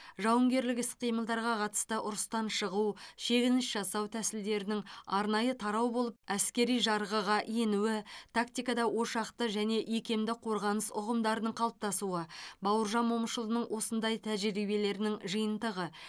жауынгерлік іс қимылдарға қатысты ұрыстан шығу шегініс жасау тәсілдерінің арнайы тарау болып әскери жарғыға енуі тактикада ошақты және икемді қорғаныс ұғымдарының қалыптасуы бауыржан момышұлының осындай тәжірибелерінің жиынтығы